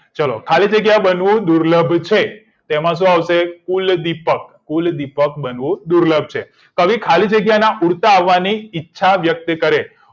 ચલો ખાલી જગ્યા બનવું દુર્લભ છે તો તેમાં શું આવશે ફૂલદીપક બનવું દુલર્ભ છે કવિ ખાલી જગ્યા ના ઉડતા અવાજથી ઈચ્છા વ્યક્ત કરે